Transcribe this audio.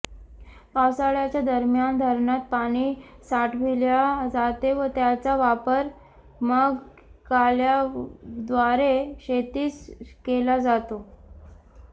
पावसाळ्याचे दरम्यान धरणात पाणी साठविल्या जाते व त्याचा वापर मग कालव्याद्वारे शेतीस केला जातो